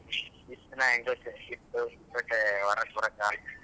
ಇಷ್ಟ ದಿನ ಹೆಂಗೋ ಚಳಿ ಇತ್ತು ಮತ್ತೆ ಹೊರಗ್ ಬರೋಕ್ ಆಗೋದಿಲ್ಲ.